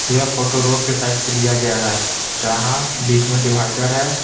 यह photo road के side से लिया गया है जहां बीच में डिवाइडर है।